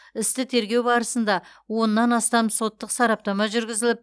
істі тергеу барысында оннан астам соттық сараптама жүргізіліп